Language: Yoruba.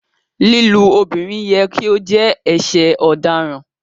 Lílú obìrín yẹ̀ kí o jẹ̀ ẹṣẹ̀ ọ̀dáràn